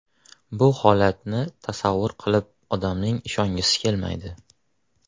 Bu holatni tasavvur qilib, odamning ishongisi kelmaydi.